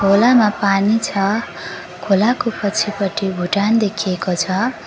खोलामा पानी छ खोलाको पछिपटि भुटान देखिएको छ।